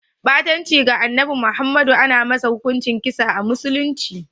Ɓatanci ga Annabi Muhammadu ana masa hukunci da kisa a musulunci.